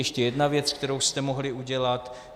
Ještě jedna věc, kterou jste mohli udělat.